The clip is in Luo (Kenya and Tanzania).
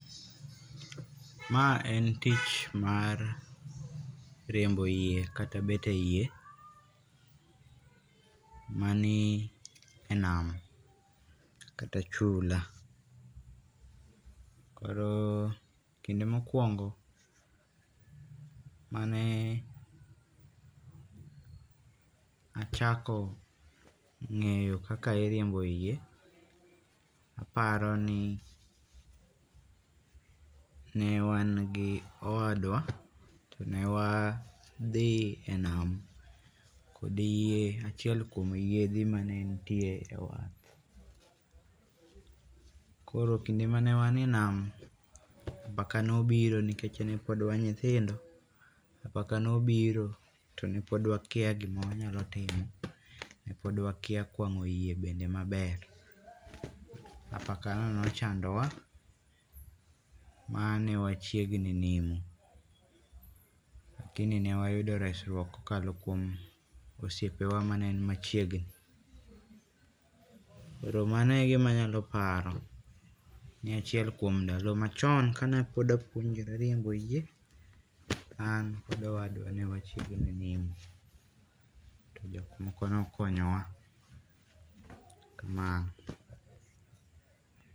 ma en tich mar riembo yie kata bet e yie manie nam kata chula, koro kinde ma okuongo mane achako ngeyo kaka iriembo yie, aparoni ne wan gi owadwa tone wadhi e nam kod yie, achiel kuom yiedhi mani nitie e wath. Koro kinde mane wan e nam, apaka ne obiro nikech ne pod wan nyithindo, apaka ne obiro tone pod wakia gim awanyalo timo nepod wakia kwango yie bende maber, apakano nochandowa mane wachiegninimo lakini ne wayudo resruok kokalo kuom osiepewa mane ni machiegni. Koro mano e gima anyalo paro ni achiel kuom ndalo machon kane apuonjora riembo yie, an kod owadwa ne wachiegni nimo to jomoko ne okonyowa, kamano